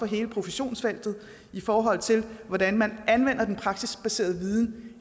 hele professionsfeltet i forhold til hvordan man anvender den praksisbaserede viden